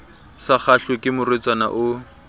sa kgahlwe ke morwetsana o